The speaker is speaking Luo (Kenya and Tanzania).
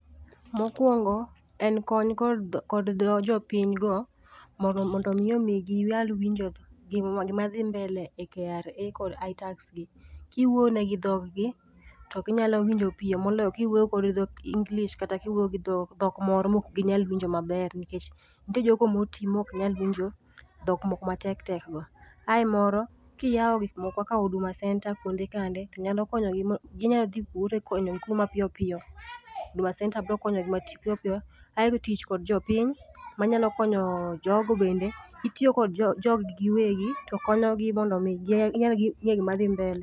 Mokuongo en kony kod ,kod jopiny go mondo mi omigi ginyal winjo gima dhi mbele e KRA kod Itax gi. Kiwuoyo negi gi dhogi to ginyalo winjo piyo moloyo kiwuoyo gi dhok English kata kiwuoyo gi dhok moro maok ginyal winjo maber nikech nitie jogo motii maok nyal winjo dhok moko matek tek go. Ae moro ,kiyao gik moko ka Huduma Centre kuonde chande tonyalo konyo gi, inyal dhi kuro mar konyogi mapiyo piyo, Huduma Centre bro konyogi mapiyo piyo. Aito tich kod jopiny manyalo konyo jogo bende, gitiyo kod jog gi giwegi to konyogi mondo mi ginyal ngeyo gima dhi mbele